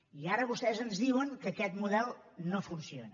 i ara vostès ens diuen que aquest model no funciona